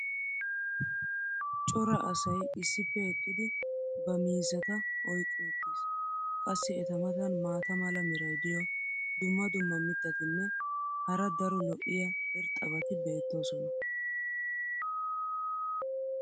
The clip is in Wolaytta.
cora asay issippe eqqidi ba miizzata oyyqqi uttis. qassi eta matan maata mala meray diyo dumma dumma mitatinne hara daro lo'iya irxxabati beetoosona.